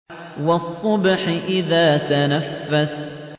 وَالصُّبْحِ إِذَا تَنَفَّسَ